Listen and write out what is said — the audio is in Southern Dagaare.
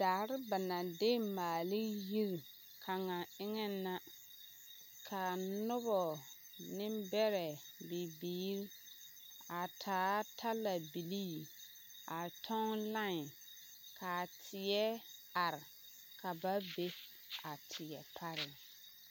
Daare ba naŋ de maale ne yiri kaŋa eŋɛŋ la ka a noba nembɛrɛ bibiiri a taa talabilii a kyɔŋ line ka a teɛ are ka ba be a teɛ pare.